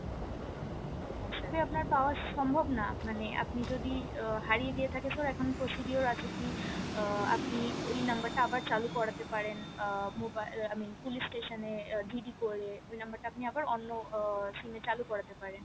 হ্যাঁ sir আপনার পাওয়া সম্ভব না মানে আপনি যদি উম হারিয়ে গিয়ে থাকে sir এখন procedure আছে কি আহ আপনি ওই নাম্বার টা আবার চালু করাতে পারেন um i mean police station এ GD করে নাম্বার টা আপনি আবার অন্য SIM এ চালু করাতে পারেন